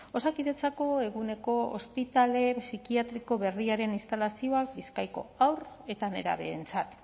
osakidetzako eguneko ospitale psikiatriko berriaren instalazioak bizkaiko haur eta nerabeentzat